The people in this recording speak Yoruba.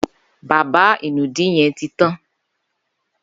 Bàbá inùdí yèn ti tán